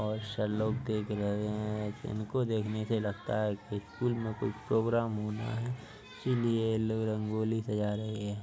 बहोत (बोहोत) से लोग देख रहे है| इनको देखने से लगता है कि स्कूल मे कुछ प्रोग्राम होना है इसीलिए ये लोग रंगोली सजा रहे है।